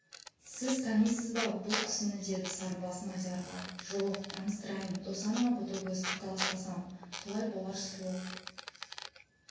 сіз танисыз ба бұл кісіні деді сарыбас мадиярға ж-ж-жоқ таныстырайын досанова ботагөз қаталаспасам солай болар сұлу